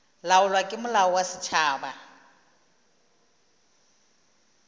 laolwa ke molao wa setšhaba